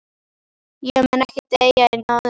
Ég mun ekki deyja í náðinni.